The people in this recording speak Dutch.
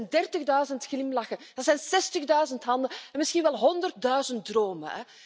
Dat zijn dertigduizend glimlachen en zestigduizend handen, misschien wel honderdduizend dromen.